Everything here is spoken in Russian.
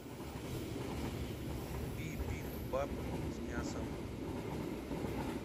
бибимбап с мясом